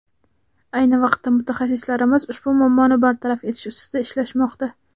Ayni vaqtda mutaxassislarimiz ushbu muammoni bartaraf etish ustida ishlashmoqda.